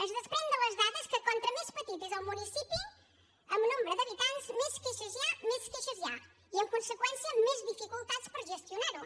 es desprèn de les dades que com més petit és el municipi en nombre d’habitants més queixes hi ha i en conseqüència més dificultats per gestionar ho